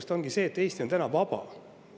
See ongi see, et Eesti on täna vaba.